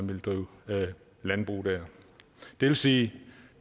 vil drive landbrug der det vil sige